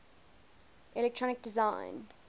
electronic design